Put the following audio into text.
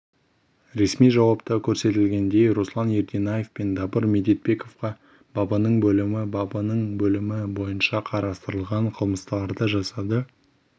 ресми жауапта көрсетілгендей руслан ерденаев пен дабыр медетбековке бабының бөлімі бабының бөлімі бойынша қарастырылған қылмыстарды жасады